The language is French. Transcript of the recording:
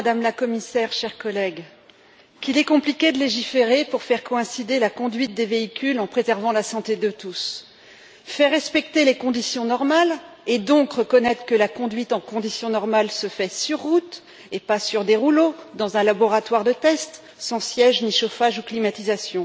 Monsieur le Président, Madame la Commissaire, chers collègues, qu'il est compliqué de légiférer pour faire coïncider la conduite des véhicules en préservant la santé de tous, faire respecter les conditions normales et, donc, reconnaître que la conduite en conditions normales se fait sur route, et pas sur des rouleaux dans un laboratoire de test, sans siège ni chauffage ou climatisation!